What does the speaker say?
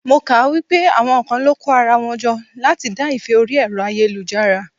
Mo kà á pé àwọn kan lọ kó ara wọn jọ láti dá ìfẹ́ orí Ẹ̀rọ ayélujára.